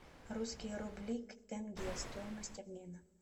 русские рубли к тенге стоимость обмена